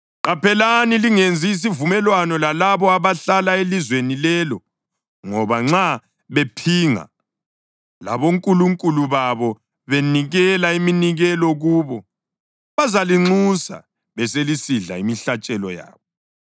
Qaphelani lingenzi isivumelwano lalabo abahlala elizweni lelo ngoba nxa bephinga labonkulunkulu babo benikela iminikelo kubo, bazalinxusa beselisidla imihlatshelo yabo.